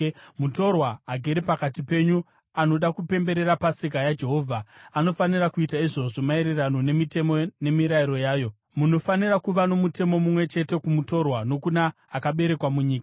“ ‘Mutorwa agere pakati penyu anoda kupemberera Pasika yaJehovha anofanira kuita izvozvo maererano nemitemo nemirayiro yayo. Munofanira kuva nomutemo mumwe chete kumutorwa nokuna akaberekerwa munyika.’ ”